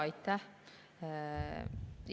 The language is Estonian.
Aitäh!